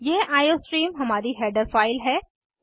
यह आईओस्ट्रीम हमारी header file है